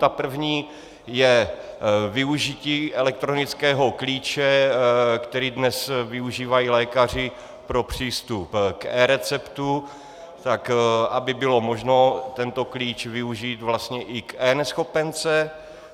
Ta první je využití elektronického klíče, který dnes využívají lékaři pro přístup k eReceptu, tak aby bylo možno tento klíč využít vlastně i k eNeschopence.